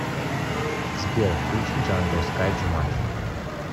сбер включи джангл скай джуманджи